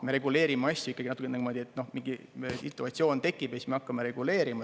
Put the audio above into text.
Me reguleerime asju natukene nii, et mingi situatsioon tekib ja siis me hakkame reguleerima.